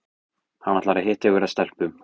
Hann ætlar að hitta einhverja stelpu